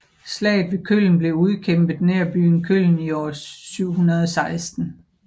Slaget ved Köln blev udkæmpet nær byen Köln i år 716